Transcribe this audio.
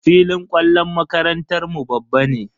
Filin kwallon makarantar mu babban ne.